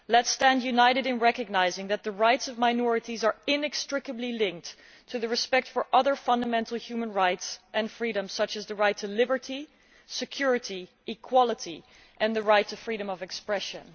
Let us stand united in recognising that the rights of minorities are inextricably linked to the upholding of other fundamental human rights and freedoms, such as the right to liberty, security and equality, and the right to freedom of expression.